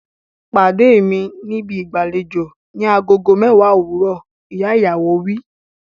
Pàdé mi níbi ìgbàlejò ni agogo mẹ́wàá òwúrọ̀! Ìyá ìyàwó wí.